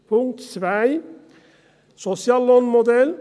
Punkt 2, Soziallohnmodell